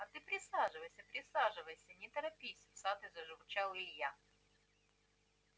а ты присаживайся присаживайся не торопись усатый зажурчал илья